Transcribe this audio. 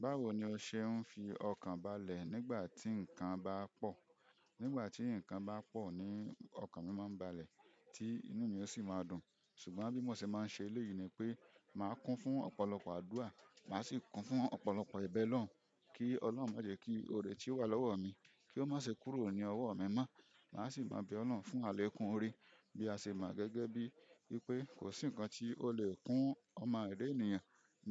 Báwo ni o se fi okan balẹ̀ nigbati nkan ba po. Nígbà tí nǹkan bá pọ̀ ni ọkàn mi máa ń balẹ̀, tí inú mi yóò sì máa dùn. Ṣùgbọ́n bí mo ṣe máa ń ṣe le yìí ni pé màá kún fún ọ̀pọ̀lọpọ̀ àdúrà, màá sì kún fún ọ̀pọ̀lọpọ̀ ìbẹloun kí Ọlọ́run má jẹ kí oore tí ó wà lọ́wọ́ mi, kí ó má ṣe kúrò ní ọwọ́ mi mọ́. Màá sì máa bẹ Ọlọ́run fún àlẹ̀kun oore bí a ṣe mọ̀ gẹ́gẹ́ bí pé kò sí nǹkan tí ó lè kún ọmọ ènìyàn